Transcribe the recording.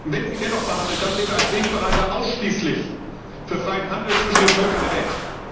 Wenn sie dennoch verhandelt, dann bitte als Wegbereiter ausschließlich für freien Handel zwischen den Völkern der Welt.